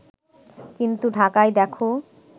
কিন্তু ঢাকায় দেখো